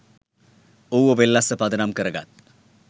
ඌව වෙල්ලස්ස පදනම් කරගත්